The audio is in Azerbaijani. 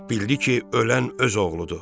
Bildiki ölən öz oğludur.